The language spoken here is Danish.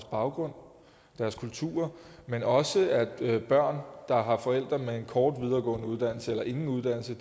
baggrund deres kultur men også at børn der har forældre med en kort videregående uddannelse eller ingen uddannelse